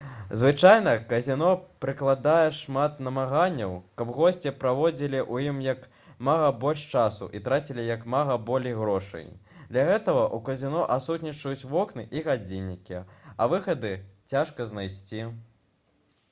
звычайна казіно прыкладае шмат намаганняў каб госці праводзілі ў ім як мага больш часу і трацілі як мага болей грошай для гэтага ў казіно адсутнічаюць вокны і гадзіннікі а выхады цяжка знайсці